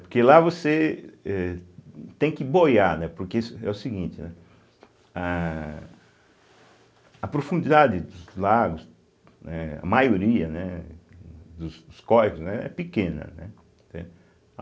Porque lá você êh tem que boiar, né, porque é o seguinte, né, a a profundidade dos lagos, né, a maioria, né dos córregos né, é pequena, né entende.